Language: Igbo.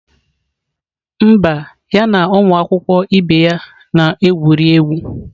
Mba, ya na ụmụ akwụkwọ ibe ya na-egwuri egwu